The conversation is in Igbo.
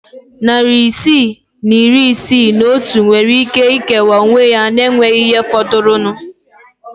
Narị isii na iri isii na otu nwere ike ikewa onwe ya na enweghị ihe fọdụrụnụ.